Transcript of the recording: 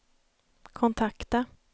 kontakta